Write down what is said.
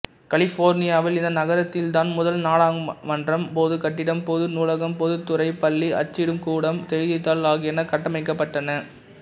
கலிபோர்னியாவில் இந்த நகரத்தில்தான் முதல் நாடகமன்றம் பொதுக் கட்டிடம் பொது நூலகம்பொதுத்துறைப் பள்ளி அச்சிடும் கூடம் செய்தித்தாள் ஆகியன கட்டமைக்கப்பட்டன